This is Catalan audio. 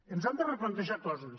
ens hem de replantejar coses